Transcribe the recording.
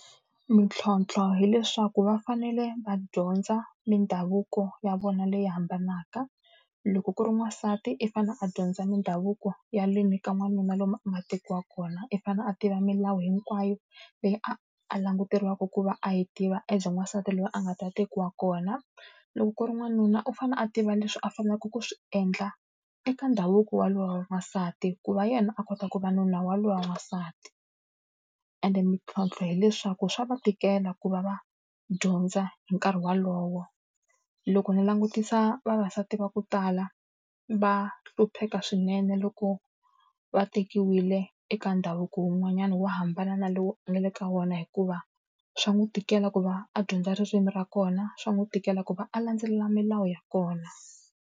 Mintlhontlho hileswaku va fanele va dyondza mindhavuko ya vona leyi hambanaka. Loko ku ri n'wansati i fanele a dyondza mindhavuko ya ka n'wanuna lomu a nga tekiwaka kona. I fanele a tiva milawu hinkwayo leyi a a languteriwaka ku va a yi tiva as n'wansati loyi a nga ta tekiwa kona, loko ku ri n'wanuna u fanele a tiva leswi a faneleke ku swi endla eka ndhavuko wa loyi wa n'wansati ku va yena a kota ku va nuna wa loyi wa n'wansati. Ende mintlhontlho hileswaku swa va tikela ku va va dyondza hi nkarhi wolowo. Loko ni langutisa vavasati va ku tala, va hlupheka swinene loko va tekiwile eka ndhavuko wun'wanyana wo hambana na lowu nga le ka wona hikuva swa n'wi tikela ku va a dyondza ririmi ra kona, swa n'wi tikela ku va a landzelela milawu ya kona.